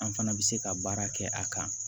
An fana bɛ se ka baara kɛ a kan